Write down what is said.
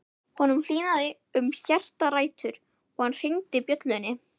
Honum hlýnaði um hjartarætur og hann hringdi bjöllunni.